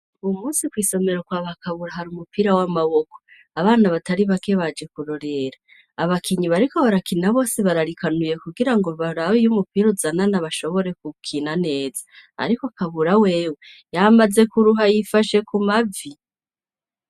Uwu munsi kwisomero kwaba kabura hari umupira w'amaboko abana batari bake baje kurorera abakinyi bariko barakina bose bararikanuye kugira ngo barabe iy'umupira uzanana bashobore hukina neza ariko kabura wewe yamaze kuruha yifashe ku mavi.